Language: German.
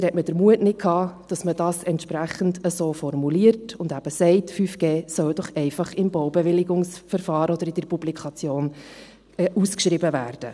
Leider hatte man den Mut nicht, dass man dies entsprechend so formuliert und eben sagt, 5G soll doch einfach im Baubewilligungsverfahren oder in der Publikation ausgeschrieben werden.